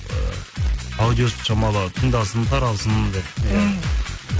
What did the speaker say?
ы аудиосын шамалы тыңдасын тарасын деп мхм